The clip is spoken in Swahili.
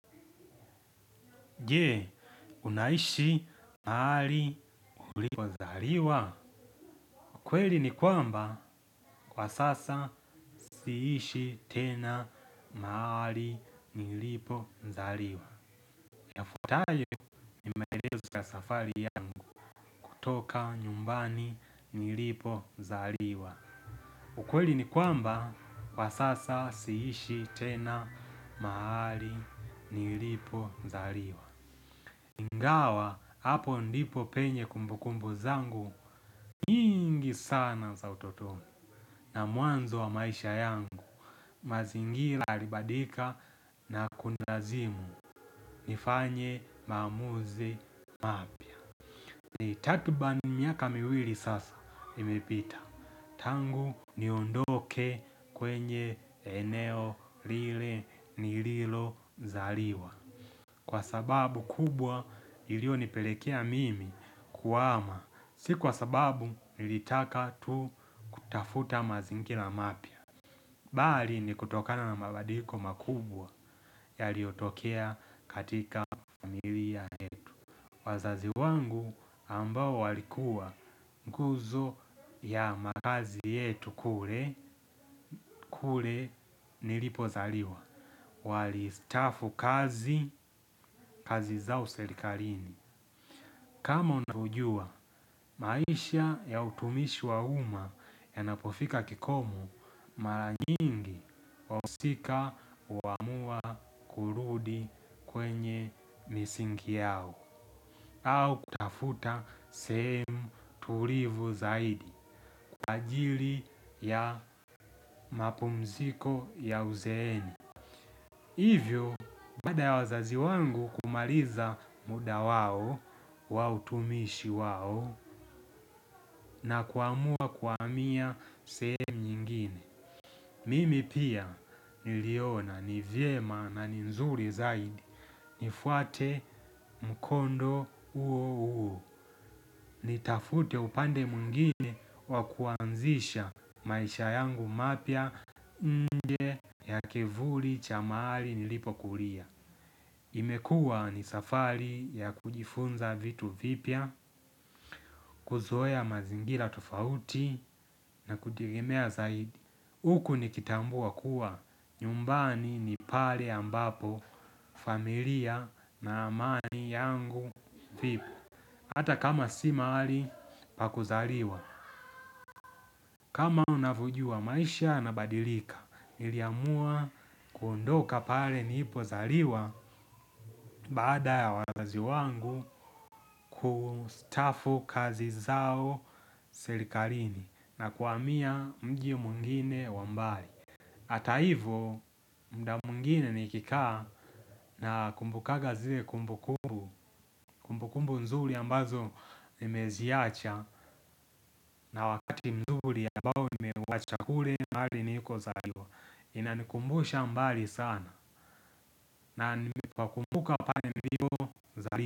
Je unaishi mahali ulikozaliwa. Ukweli ni kwamba, kwa sasa siishi tena mahali nilipo zaliwa. Ya fuatayo ni maelezo ya safari yangu kutoka nyumbani nilipo zaliwa. Ukweli ni kwamba, kwa sasa siishi tena maali ulipo zariwa. Ingawa hapo ndipo penye kumbu kumbu zangu nyingi sana za utotoni na mwanzo wa maisha yangu. Mazingira yalibadilika na kunilazimu nifanye maamuzi mapya. Ni takribani miaka miwili sasa imepita. Tangu niondoke kwenye eneo lile ni lilo zaliwa kwa sababu kubwa ilio nipelekea mimi kuhama, si kwa sababu nilitaka tu kutafuta mazingira mapya bali ni kutokana na mabadiliko makubwa ya liyotokea katika miwia yetu. Wazazi wangu ambao walikuwa nguzo ya makazi yetu kule, kule nilipozaliwa. Walistafu kazi, kazi zao serikalini kama unaujua maisha ya utumishi wa uma ya napofika kikomo mara nyingi wahusika huamua kurudi kwenye misingi yao au kutafuta sehemu tulivu zaidi kwa ajili ya mapumziko ya uzeeni. Hivyo, baada ya wazazi wangu kumaliza muda wao, wautumishi wao, na kuamua kuhamia sehemu nyingine. Mimi pia, niliona, nivyema na ni nzuri zaidi, nifuate mkondo huo huo. Nitafute upande mwingine wakuanzisha maisha yangu mapya nje ya kivuli cha mahali nilipo kulia. Imekua ni safari ya kujifunza vitu vipya, kuzoea mazingira tofauti na kudigimea zaidi. Huku nikitambua kuwa, nyumbani ni pale ambapo, familia na amani yangu vipo. Hata kama si mahali, pakuzaliwa. Kama unavojua maisha yana badilika, niliamua kuondoka pale nilipo zaliwa baada ya wazazi wangu kustafu kazi zao serikalini na kuhamia mji mwingine wa mbali. Hata hivo muda mwingine nikikaa na kumbukaga zile kumbukumbu kumbukumbu nzuri ambazo nimeziacha na wakati mzuri ambao nimeuwacha kule mahali niliko zaliwa. Inanikumbusha mbali sana na wakumbuka pale nilipo zaliwa.